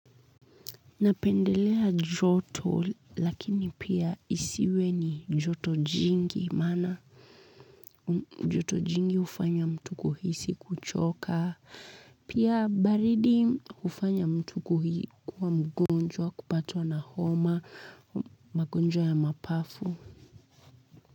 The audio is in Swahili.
Napendelea joto lakini pia isiwe ni joto jingi maana joto jingi hufanya mtu kuhisi kuchoka. Pia baridi hufanya mtu kuhisi kwa mgonjwa, kupatwa na homa, magonjwa ya mapafu.